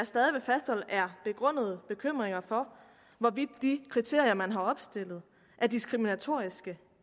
stadig fastholder er begrundede bekymringer for hvorvidt de kriterier man har opstillet er diskriminatoriske